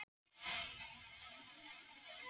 pass Hvaða liði myndir þú aldrei spila með?